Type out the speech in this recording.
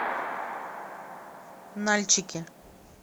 нальчике